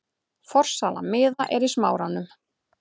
Forsala miða er í Smáranum.